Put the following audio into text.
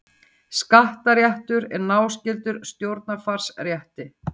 Skattaréttur er náskyldur stjórnarfarsrétti.